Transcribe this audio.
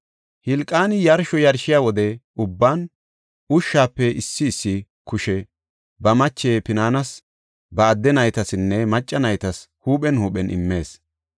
Hilqaani yarsho yarshiya wode ubban ashuwape issi issi kushe ba mache Pinaanis, ba adde naytasinne macca naytas huuphen huuphen immees.